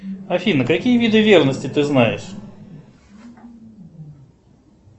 афина какие виды ревности ты знаешь